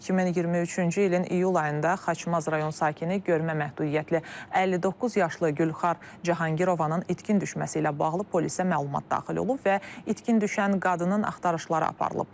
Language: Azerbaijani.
2023-cü ilin iyul ayında Xaçmaz rayon sakini görmə məhdudiyyətli 59 yaşlı Gülxar Cahangirovanın itkin düşməsi ilə bağlı polisə məlumat daxil olub və itkin düşən qadının axtarışları aparılıb.